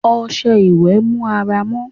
ọsẹ ìwe mú àrà mọ